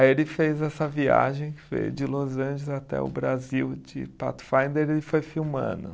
Aí ele fez essa viagem, veio de Los Angeles até o Brasil de Pathfinder e foi filmando.